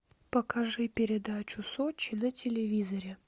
покажи передачу сочи на телевизоре